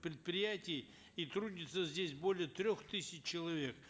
предприятий и трудится здесь более трех тысяч человек